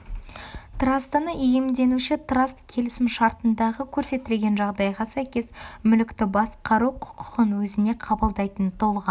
трастыны иемденуші траст келісім-шартындағы көрсетілген жағдайға сәйкес мүлікті басқару құқығын өзіне қабылдайтын тұлға